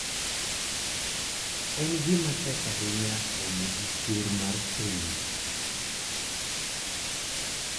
En gima tek ahinya romo gi ker mar piny.